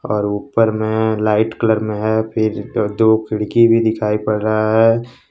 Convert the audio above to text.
और ऊपर में लाइट कलर में है फिर दो खिड़की भी दिखाई पड़ रहा है।